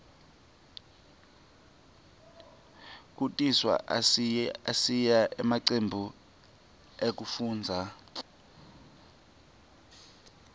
kutiswa ayasita emacembu ekufundza